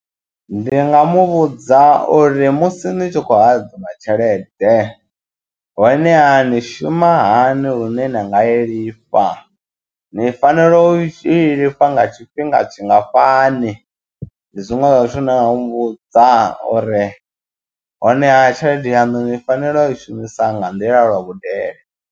Ndi nga muvhudza uri musi ni tshi khou hadzima tshelede honeha ni shuma hani lune na nga i lifha ni fanela u i lifha nga tshifhinga tshingafhani, ndi zwiṅwe zwa zwithu na u muvhudza uri honeha tshelede yanu ni fanela u i shumisa nga nḓila lwa vhudele.